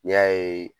N'i y'a ye